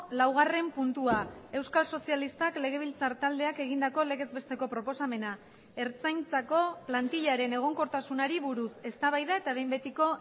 laugarren puntua euskal sozialistak legebiltzar taldeak egindako legez besteko proposamena ertzaintzako plantillaren egonkortasunari buruz eztabaida eta behin betiko